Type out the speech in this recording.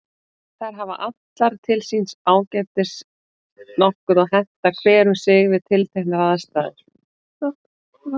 Aríella, hvað er klukkan?